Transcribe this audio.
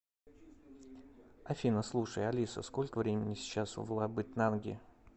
афина слушай алиса сколько времени сейчас в лабытнанги